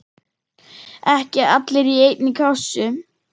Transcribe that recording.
Ekki allir í einni kássu!